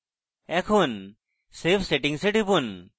এখন save settings এ টিপুন